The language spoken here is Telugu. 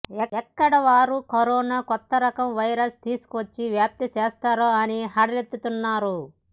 ఎక్కడ వారు కరోనా కొత్త రకం వైరస్ తీసుకువచ్చి వ్యాప్తి చేస్తారో అని హడలెత్తిపోతున్నారు